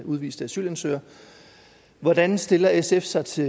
udviste asylansøgere hvordan stiller sf sig til